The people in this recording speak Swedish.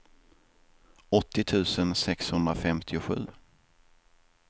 åttio tusen sexhundrafemtiosju